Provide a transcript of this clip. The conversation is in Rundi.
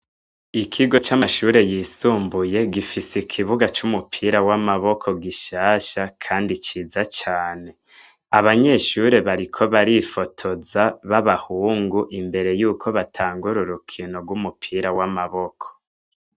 Ikigo c'amashure yisumbuye gifise ikibuga cumupira wamaboko gusahsha kandi ciza cane abanyeshure bariko barifotoza babahungu imbere yuko batangura urukino rwamaboko.